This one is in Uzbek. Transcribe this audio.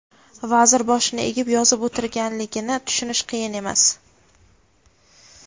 vazir boshini egib yozib o‘tirganligini tushunish qiyin emas.